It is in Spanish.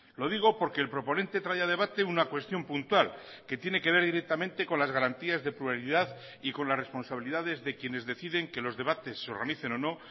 lo digo porque el proponente traía a debate una cuestión puntual que tiene que ver directamente con las garantías de pluralidad y con las responsabilidades de quienes deciden que los debates se organicen o no